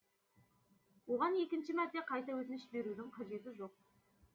оған екінші мәрте қайта өтініш берудің қажеті жоқ